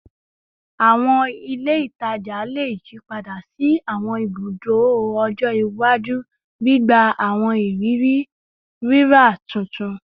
Awọn ile itaja le yipada si awọn ibudo ọjọ iwaju, gbigba awọn iriri rira tuntun